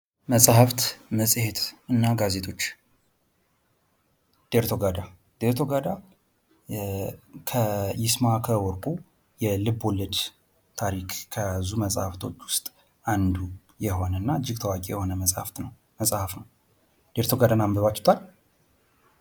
መጽሐፍ መጽሄት እና ጋዜጦች ዴርቶጋዳ ከ ይስማከ ወርቁ የልቦለድ ታዋቂ መሐፍቶች ውስጥ አንዱ የሆነው ተወዳጅ መጽሐፍ ነው ዴርቶጋዳን አንብባችሁታል?